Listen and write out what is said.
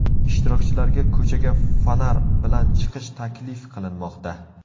Ishtirokchilarga ko‘chaga fonar bilan chiqish taklif qilinmoqda.